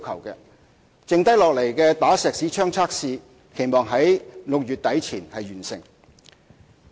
餘下的"打石屎槍"測試，期望於6月底前完成。